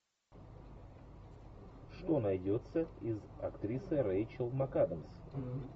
что найдется из актрисы рейчел макадамс